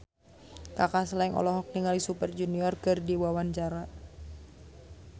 Kaka Slank olohok ningali Super Junior keur diwawancara